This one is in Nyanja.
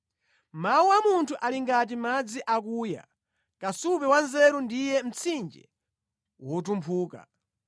Mawu a munthu ali ngati madzi akuya, kasupe wa nzeru ndiye mtsinje wotumphuka.